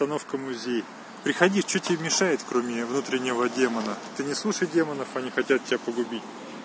остановка музей приходи что тебе мешает кроме внутреннего демона ты не слушай демонов они хотят тебя погубить